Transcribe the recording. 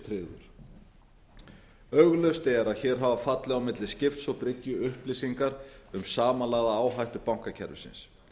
tryggður augljóst er að hér hafa fallið á máli skips og bryggju upplýsingar um samanlagða áhættu bankakerfisins